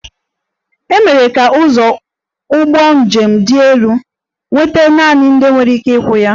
E mere ka ụzọ ụgbọ njem dị elu nweta naanị ndị nwere ike ịkwụ ụgwọ ya